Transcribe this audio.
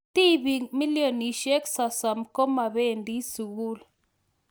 Tibiik milionishek sosom komabendii sugul